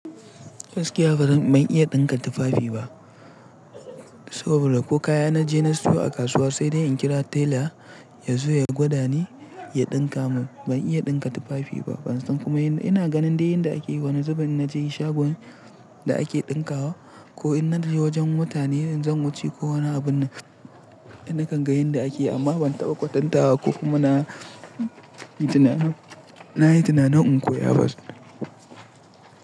Gaskiya ban iya ɗinka tufafi ba. Saboda ko kaya na je na siyo a kasuwa sai dai in kira tela ya zo ya gwada ni ya ɗinka mun. Ban iya ɗinka tufafi ba. Ban san kuma ina ganin dai yanda ake yi. Wani zubinn na je shagon da ake ɗinkawa ko in na je wajen mutane zan wuce ko wani abun na kan ga yanda ake yi amma ban taɓa kwatanta ba ko kuma na na yi tuna na in koya ba.